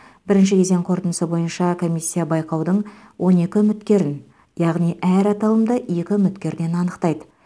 бірінші кезең қорытындысы бойынша комиссия байқаудың он екі үміткерін яғни әр аталымда екі үміткерден анықтайды